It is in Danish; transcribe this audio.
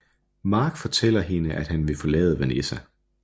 Mark fortæller hende at han vil forlade Vanessa